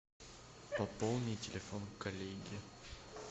пополни телефон коллеги